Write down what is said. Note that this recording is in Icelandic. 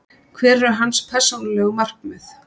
Hver eru hans persónulegu markmið?